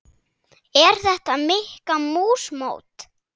Er þetta Mikka mús mót?